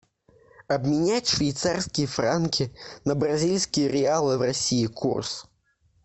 обменять швейцарские франки на бразильские реалы в россии курс